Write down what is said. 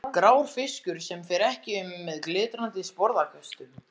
Grár fiskur sem fer ekki um með glitrandi sporðaköstum.